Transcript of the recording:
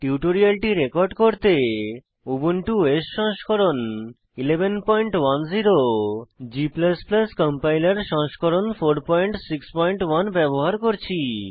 টিউটোরিয়ালটি রেকর্ড করতে Ubuntu OS সংস্করণ 1110 g কম্পাইলার সংস্করণ 461 ব্যবহার করছি